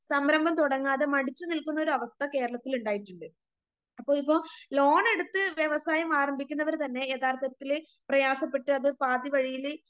സംരംഭം തുടങ്ങാതെ മടിച്ചുനിൽക്കുന്നൊരവസ്ഥ കേരളത്തിലിണ്ടായിട്ടിണ്ട്. അപ്പോളിപ്പോ ലോണെടുത്ത് വ്യവസായം ആരംഭിക്കുന്നവര്തന്നെ യഥാർത്ഥത്തില് പ്രയാസപ്പെട്ട് അത് പാതിവഴിയില്